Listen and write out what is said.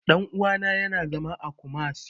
Ɗan uwana ya na zama a Kumasi